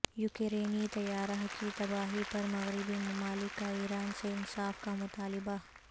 یوکرینی طیارہ کی تباہی پر مغربی ممالک کا ایران سے انصاف کا مطالبہ